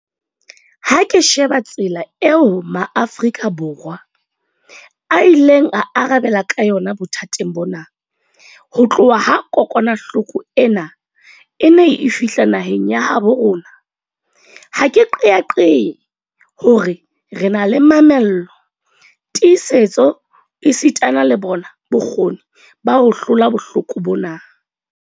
Ha ke sheba tsela eo Maafrika Borwa a ileng a arabela ka yona bothateng bona ho tloha ha kokwanahloko ena e ne e fihla naheng ya habo rona, ha ke qeaqee hore re na le mamello, tiisetso esitana le bona bokgoni ba ho hlola bohloko bona.